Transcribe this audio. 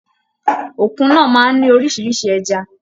Òkun náà máa n ní oríṣiríṣi ẹja.